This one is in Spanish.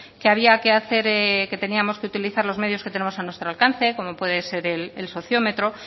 que había que hacer que teníamos que utilizar los medios que tenemos a nuestro alcance como puede ser el sociometro